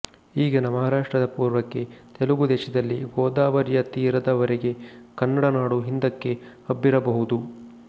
ಈಗಿನ ಮಹಾರಾಷ್ಟ್ರದ ಪೂರ್ವಕ್ಕೆ ತೆಲುಗು ದೇಶದಲ್ಲಿ ಗೋದಾವರಿಯ ತೀರದವರೆಗೆ ಕನ್ನಡನಾಡು ಹಿಂದಕ್ಕೆ ಹಬ್ಬಿರಬಹುದು